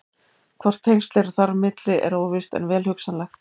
Hvort tengsl eru þar á milli er óvíst en vel hugsanlegt.